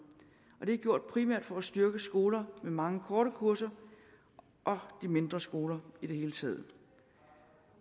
det er gjort primært for at styrke skoler med mange korte kurser og de mindre skoler i det hele taget